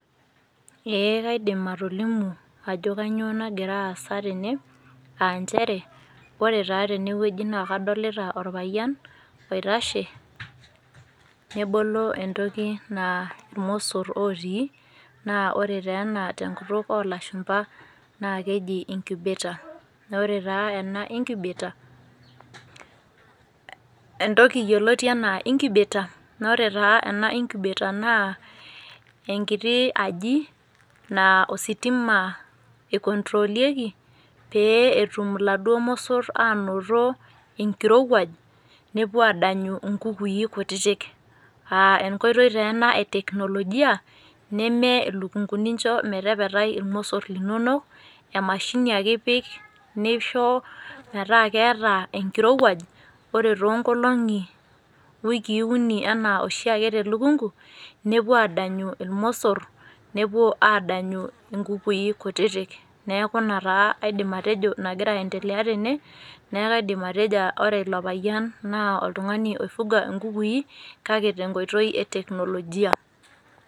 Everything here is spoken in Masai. Eeh kaidim atolimu ajo kanyoo nagira aasa tene aanchere ore taa tenewueji naa kadolita orpayian oitashe nebolo entoki naa ilmossor ootii naa ore teena tenkutuk olashumpa naakeji  incubator. Naaore taa ena incubator eh entoki yoloti anaa  incubator noore taa ena incubator naa enkiti aji naa ositima eikontrolieki pee etum laduo mossor aanoto enkirowuaj nepuoaadanyu inkukui kutitik [aa] enkoitoi teena e teknolojia neme ilukunguni incho metepetai ilmossor linono, emashini ake ipik nishoo metaa keetaa enkirowuaj. Ore toonkolong'i, wikii uni anaa oshiake telukungu nepuo adanyu ilmosorr nepuo adanyu inkukui kutitik. Neaku ina taa aidim atejo nagira aendelea tene neaku aidim atejo ore ilo payian naa oltung'ani oifuga inkukui kake tenkoitoi eteknolojia.